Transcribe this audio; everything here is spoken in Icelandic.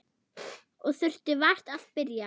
Og þurfti vart að spyrja.